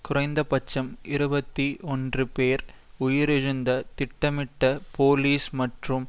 குறைந்தபட்சம் இருபத்தி ஒன்று பேர் உயிரிழந்த திட்டமிட்ட போலிஸ் மற்றும்